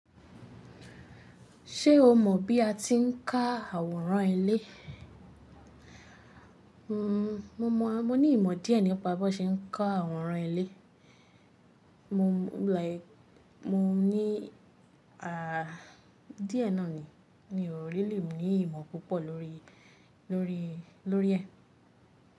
Ṣé o mọ̀ bí a ti ń ká àwòrán ilé? Mmm, mo mọ̀, mo ní ìmọ̀ díẹ̀ nípa bí wọ́n ṣe ń ká àwòrán ilé. Mo like, mo ní a díẹ̀ náà ni. Mí ò really ní ìmọ̀ púpọ̀ lórí, lórí, lórí ẹ̀.